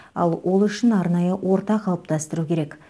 ал ол үшін арнайы орта қалыптастыру керек